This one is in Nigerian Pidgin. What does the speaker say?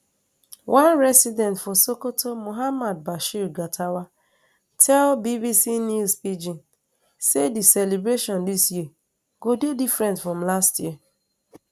one resident for sokoto muhammad bashir gatawa tell bbc news pidgin say di celebration dis year go dey different from last year